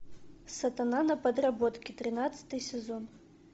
сатана на подработке тринадцатый сезон